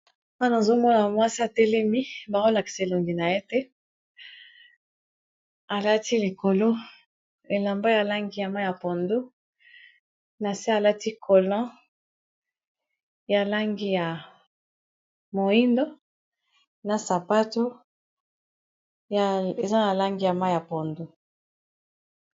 wana azomona mwasa telemi baholaxe elongi na ye te alati likolo elamba ya langi ya ma ya pondo na se alati kolon ya langi ya moindo na sapato eza na langi ya ma ya pondo